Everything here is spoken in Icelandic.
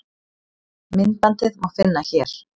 myndbandið má finna hér